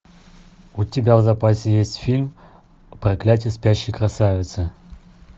у тебя в запасе есть фильм проклятие спящей красавицы